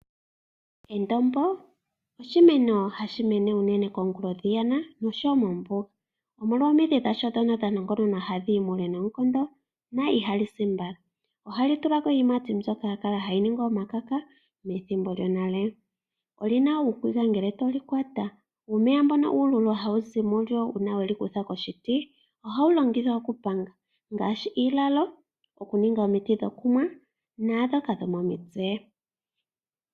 Endombo oshimeno unene hashi mene pomahala pwakukuta noshowoo moombuga. Omidhi dhalyo ndhoka dha nongononwa hadhi yi muule noonkondo. Ihali si woo nombala. Ohali tulako iiyimati mbyoka yakala hayi andwa omakaka methimbo lyonale. Olina uukegwa ngele to li kwata. Uumeya mbono uululu hawu zi mulyo uuna weli kutha koshiti, ohawu longithwa okupanga ngaashi iilalo, okuninga omiti dhokunwa naandhoka dhomomitse.